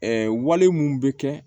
wale mun bɛ kɛ